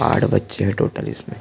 आठ बच्चे है टोटल इसमें --